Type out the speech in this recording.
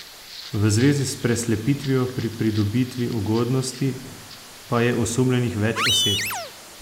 V zvezi s preslepitvijo pri pridobitvi ugodnosti pa je osumljenih več oseb.